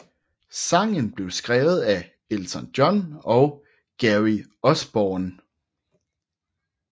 Sangen blev skrevet af Elton John og Gary Osborne